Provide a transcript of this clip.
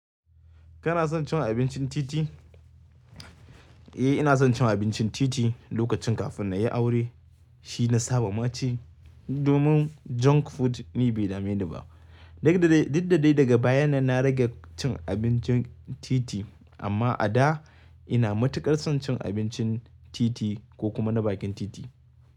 Kana son cin abincin titi? Eh, ina son cin abincin titi lokacin kafin na yi aure. Shi na saba ma ci domin junk food ni bai dame ni ba. Diddai, diddai daga bayan nan na rage cin abincin titi amma a da ina matuƙar son cin abincin titi ko kuma na bakin titi.